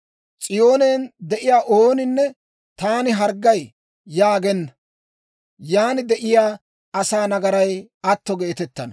S'iyoonen de'iyaa ooninne, «Taani harggay» yaagenna; yan de'iyaa asaa nagaray atto geetettana.